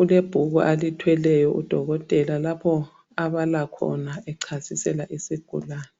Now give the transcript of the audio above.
ulebhuku alithweleyo udokotela lapho abalakhona echasisela isigulane.